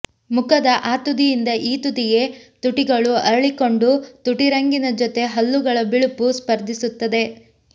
ಮುಖದ ಆ ತುದಿಯಿಂದ ಈ ತುದಿಗೆ ತುಟಿಗಳು ಅರಳಿಕೊಂಡು ತುಟಿರಂಗಿನ ಜೊತೆ ಹಲ್ಲುಗಳ ಬಿಳುಪು ಸ್ಪರ್ಧಿಸುತ್ತದೆ